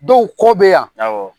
Dɔw kɔ be yan.